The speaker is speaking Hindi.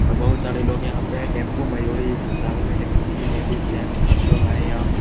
और बहुत सारे लोग यहां पे है टेंपू मयूरी सब से आये हुए है देखने के लिए लेडीज जेंट्स सब लोग आये है यहां पे।